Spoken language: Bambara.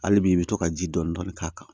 Hali bi i bɛ to ka ji dɔɔni dɔɔni k'a kan